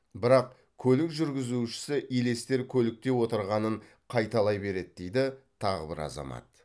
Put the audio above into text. бірақ көлік жүргізушісі елестер көлікте отырғанын қайталай береді дейді тағы бір азамат